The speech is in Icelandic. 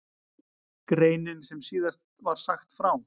Greinin sem síðast var sagt frá